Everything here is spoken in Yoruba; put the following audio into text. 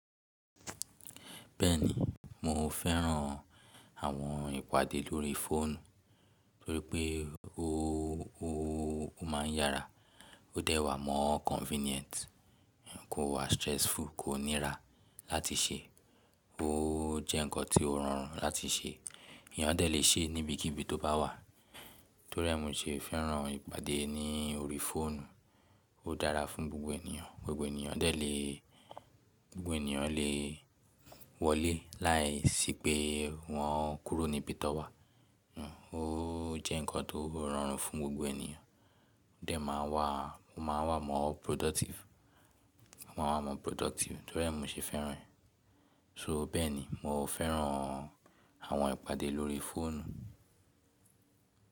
Bẹ́ẹ̀ni, mo fẹ́ran àwọn ìpàdé lórí fóònù torípé ó, ó, ó máa ń yára, ó dẹ́ wá mọ́ convenient, kò wá stressful, kò nira láti ṣe, ó jẹ́ ǹkan tó rọrùn láti ṣe, èèyàn dẹ́ lè ṣe níbi kíbi tó bá wà. Torí ẹ́ mu ṣe fẹ́ran ìpàdé ní orí fóònù, ó dára fún gbogbo ènìyàn, gbogbo ènìyàn dẹ́ lè, gbogbo ènìyàn lè wọlé láìsí pé wọn kúrò níbi tó wà. Ó jẹ́ ǹkan tó rọrùn fún gbogbo ènìyàn, ó dẹ́ má wá, ó máa wà mọ́ productive, wọ́n máa wà mọ́ productive torí ẹ́ mu ṣe fẹ́ran ẹ̀. So bẹ́ẹ̀ni mo fẹ́ran àwọn ìpàdé lórí fóònù.